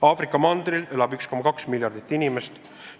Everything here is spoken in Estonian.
Aafrika mandril elab 1,2 miljardit inimest.